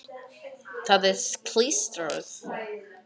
Það er klístrað.